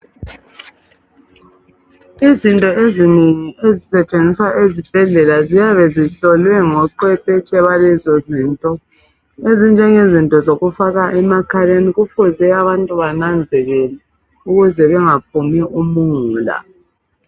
Izinto ezinengi ezisetshenziswa ezibhedlela ziyabe zihlolwe ngochwepetshe bazo. Ezokufaka emakhaleni kufuze abantu bananzelele ukuze bangaphumi umungula.